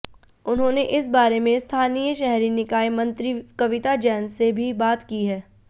उन्होंने इस बारे में स्थानीय शहरी निकाय मंत्री कविता जैन से भी बात की है